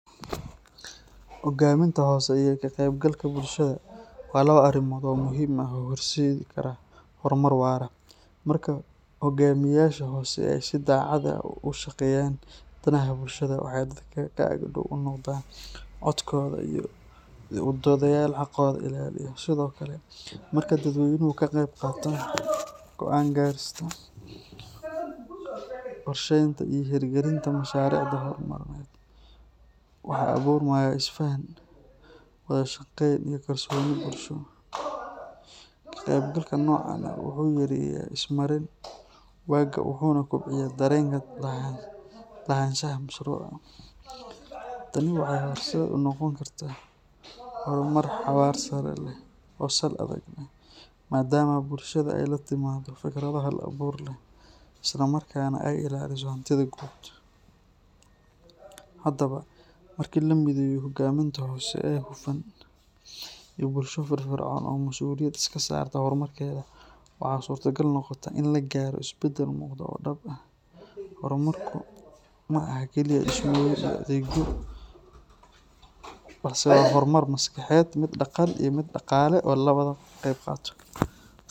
Hoggaaminta hoose iyo ka-qaybgalka bulshada waa laba arrimood oo muhiim ah oo horseedi kara horumar waara. Marka hoggaamiyeyaasha hoose ay si daacad ah uga shaqeeyaan danaha bulshada, waxay dadka ka ag dhow u noqdaan codkooda iyo u doodayaal xaqooda ilaaliya. Sidoo kale, marka dadweynuhu ka qayb qaataan go’aan gaarista, qorsheynta iyo hirgelinta mashaariicda horumarineed, waxaa abuurmaya is-faham, wada shaqayn iyo kalsooni bulsho. Ka-qaybgalka noocan ah wuxuu yareeyaa is-marin waaga wuxuuna kobciyaa dareenka lahaanshaha mashruuca. Tani waxay horseed u noqon kartaa horumar xawaare sare leh oo sal adag leh, maadaama bulshada ay la timaaddo fikrado hal abuur leh, isla markaana ay ilaaliso hantida guud. Haddaba, marka la mideeyo hoggaaminta hoose ee hufan iyo bulsho firfircoon oo mas’uuliyad iska saarta horumarkeeda, waxa suurtagal noqota in la gaaro isbeddel muuqda oo dhab ah. Horumarku ma aha keliya dhismooyin iyo adeegyo, balse waa horumar maskaxeed, mid dhaqan iyo mid dhaqaale oo laga wada qeyb qaato.